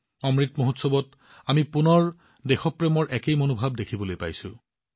অমৃত মহোৎসৱত আমি পুনৰ দেশপ্ৰেমৰ একেই মনোভাৱ দেখিবলৈ পাইছো